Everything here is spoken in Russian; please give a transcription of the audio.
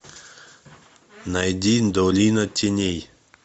найди долина теней